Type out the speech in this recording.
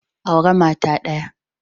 Aure mata daya.